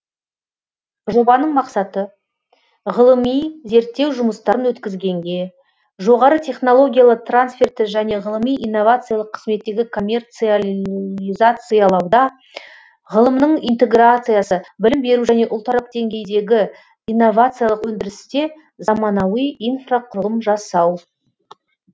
жобаның мақсаты ғылыми зерттеу жұмыстарын өткізгенге жоғары технологиялы трансферті және ғылыми инновациялық қызметтегі коммерциализациялауда ғылымның интеграциясы білім беру және ұлтаралық деңгейдегі инновациялық өндірісте заманауи инфрақұрылым жасау